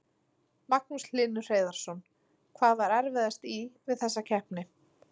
Magnús Hlynur Hreiðarsson: Hvað var erfiðast í, við þessa keppni?